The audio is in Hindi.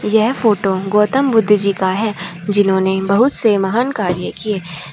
यह फोटो गौतम बुद्ध जी का है जिन्होंने बहुत से महान कार्य किए।